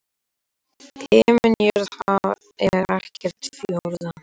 Himinn jörð haf er ekkert fjórða?